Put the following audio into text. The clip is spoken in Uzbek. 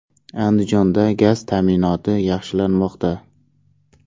Andijonda gaz ta’minoti yaxshilanmoqda.